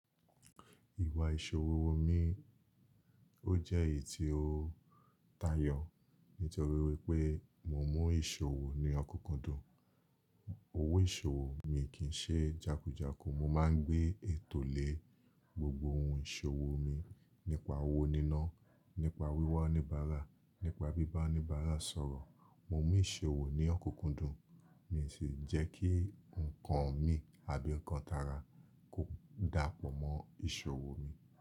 Ìwà ìṣòwò mi ó jẹ́ èyí tí ó tayọ̀ nítorí wípé mo mu ìṣòwò ní ọkunkundùn. Owó ìṣòwò mi kì í ṣe jákújáku. Mo máa ń gbé ètò lé gbogbo ohun ìṣòwò mi nípa owó níná, nípa wíwá oníbàárà, nípa bíbá oníbàárà sọ̀rọ̀. Mo mu ìṣòwò ní ọkunkundùn, mi sì ń jẹ́ kí ǹkan mi àbí ǹkan tara kò dàpọ̀ mọ́ ìṣòwò mi.